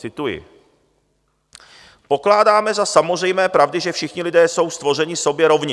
Cituji: Pokládáme za samozřejmé pravdy, že všichni lidé jsou stvořeni sobě rovni.